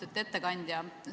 Austatud ettekandja!